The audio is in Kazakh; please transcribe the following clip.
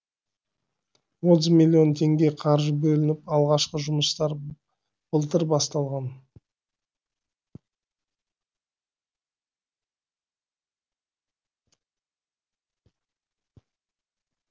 отыз миллион теңге қаржы бөлініп алғашқы жұмыстар былтыр басталған